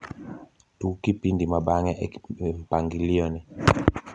tug kipindi mabang`e e mpanglio ni